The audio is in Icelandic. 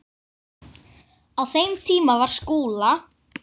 Á þeim tíma var Skúla